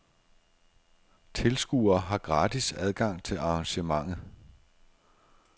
Tilskuere har gratis adgang til arrangementet.